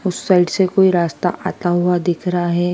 उस साइड से कोई रास्ता आता हुआ दिख रहा है।